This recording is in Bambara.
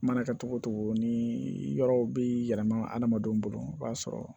Mana kɛ cogo o cogo ni yɔrɔw bɛ yɛlɛma hadamadenw bolo i b'a sɔrɔ